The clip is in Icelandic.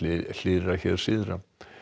hlýrra syðra